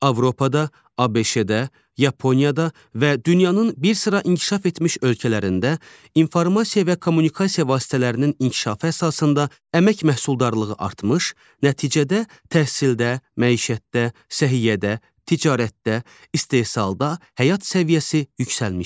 Avropada, ABŞ-da, Yaponiyada və dünyanın bir sıra inkişaf etmiş ölkələrində informasiya və kommunikasiya vasitələrinin inkişafı əsasında əmək məhsuldarlığı artmış, nəticədə təhsildə, məişətdə, səhiyyədə, ticarətdə, istehsalda həyat səviyyəsi yüksəlmişdir.